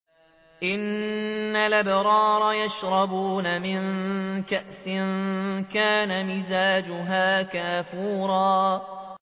إِنَّ الْأَبْرَارَ يَشْرَبُونَ مِن كَأْسٍ كَانَ مِزَاجُهَا كَافُورًا